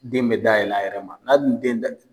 Den bɛ da yɛlɛ a yɛrɛ ma, n'a dun den